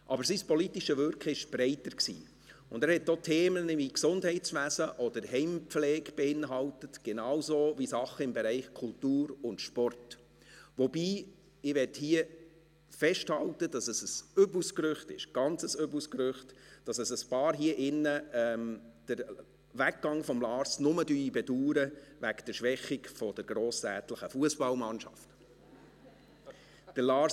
Aber sein politisches Wirken war breiter, und es beinhaltete auch Themen wie Gesundheitswesen oder Heimpflege, genauso wie Dinge im Bereich der Kultur und des Sports, wobei ich hier festhalten möchte, dass es ein übles Gerücht ist – ein ganz übles Gerücht –, dass einige in diesem Saal den Weggang von Lars Guggisberg nur wegen der Schwächung der grossrätlichen Fussballmannschaft bedauern.